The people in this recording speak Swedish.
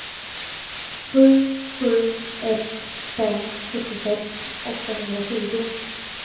sju sju ett fem sjuttiosex åttahundratjugo